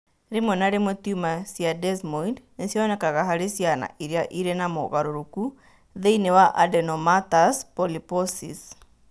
Rĩmwe na rĩmwe tumor cia Desmoid nĩ cionekaga harĩ ciana iria irĩ na mogarũrũku thĩinĩ wa adenomatous polyposis.